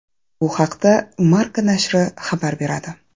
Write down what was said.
Bu haqda Marca nashri xabar beradi.